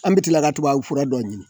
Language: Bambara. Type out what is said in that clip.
An be kila ka tubabufura dɔ ɲini